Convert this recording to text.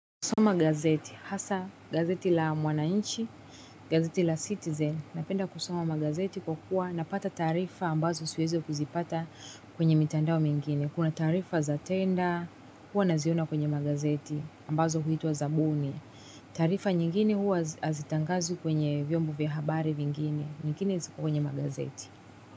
Kusoma gazeti, hasa gazeti la mwananchi, gazeti la citizen, napenda kusoma magazeti kwa kuwa napata taarifa ambazo siwezi kuzipata kwenye mitandao mingine. Kuna taarifa za tenda, huwa naziona kwenye magazeti ambazo huitwa zabuni. Taarifa nyingine huwa hazitangazwi kwenye vyombo vya habari vingine, nyingine ziko kwenye magazeti.